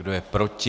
Kdo je proti?